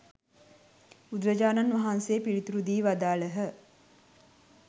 බුදුරජාණන් වහන්සේ පිළිතුරු දී වදාළහ.